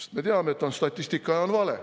Sest me teame, et on statistika ja on vale.